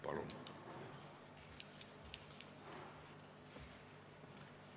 Palun!